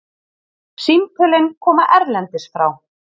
Símtölin koma erlendis frá.